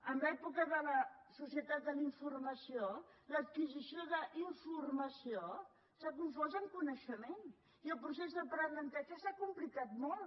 en l’època de la societat de la informació l’adquisició d’informació s’ha confós amb coneixement i el procés d’aprenentatge s’ha complicat molt